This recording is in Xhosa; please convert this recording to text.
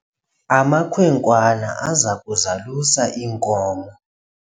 amakhwenkwana aza kuzalusa iinkomo